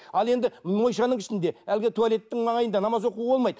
ал енді моншаның ішінде әлгі туалеттің маңайында намаз оқуға болмайды